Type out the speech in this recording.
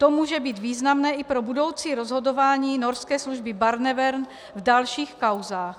To může být významné i pro budoucí rozhodování norské služby Barnevern v dalších kauzách.